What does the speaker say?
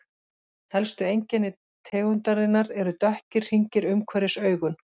Helstu einkenni tegundarinnar eru dökkir hringir umhverfis augun.